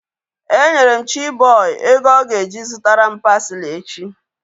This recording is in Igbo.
E nyere m Chiboy ego ọ ga-eji zụtara m parsley echi